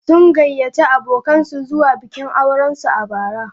Sun gayyaci abokansu zuwa bikin aurensu a bara.